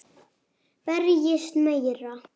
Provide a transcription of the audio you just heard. Berjist meira.